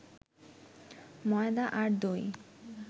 ময়দা আর দই